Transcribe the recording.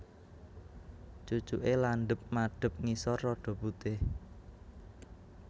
Cucuke landhep madhep ngisor rada putih